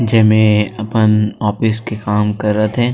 जे मे अपन ऑफिस के काम करत हे |--